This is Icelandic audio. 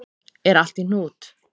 Er allt í hnút?